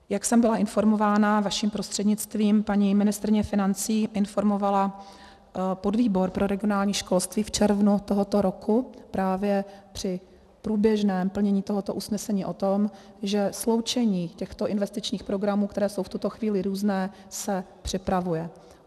Jak jsem byla informována, vaším prostřednictvím, paní ministryně financí informovala podvýbor pro regionální školství v červnu tohoto roku právě při průběžném plnění tohoto usnesení o tom, že sloučení těchto investičních programů, které jsou v tuto chvíli různé, se připravuje.